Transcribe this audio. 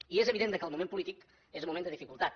i és evident que el moment polític és un moment de dificultat